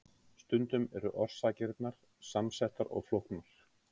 stundum eru orsakirnar samsettar og flóknar